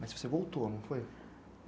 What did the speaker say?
Mas você voltou, não foi?